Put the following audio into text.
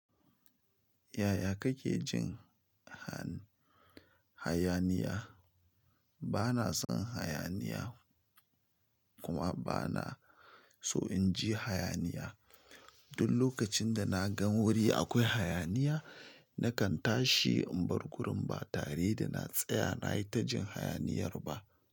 Yaya kake jin ha-hayaniya? Bana son hayaniya kuma bana so in ji hayaniya. Duk lokacin da na gan wuri akwai hayaniya, na kan tashi in bar gurin ba tare da na tsaya na yi ta jin hayaniyar ba.